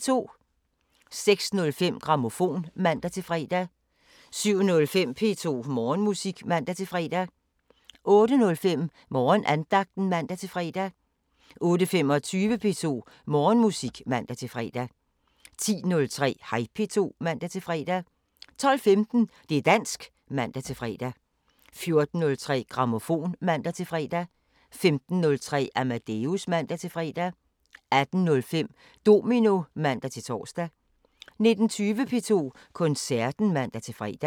06:05: Grammofon (man-fre) 07:05: P2 Morgenmusik (man-fre) 08:05: Morgenandagten (man-fre) 08:25: P2 Morgenmusik (man-fre) 10:03: Hej P2 (man-fre) 12:15: Det´ dansk (man-fre) 14:03: Grammofon (man-fre) 15:03: Amadeus (man-fre) 18:05: Domino (man-tor) 19:20: P2 Koncerten (man-fre)